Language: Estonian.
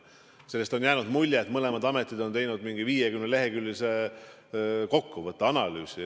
Sellest on jäänud mulje, et mõlemad ametid on teinud mingi 50-leheküljelise kokkuvõtte, analüüsi.